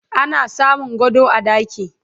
ana samun gado a ɗaki